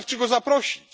Wystarczy go zaprosić.